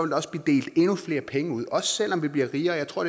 der også blive delt endnu flere penge ud også selv om vi blev rigere jeg tror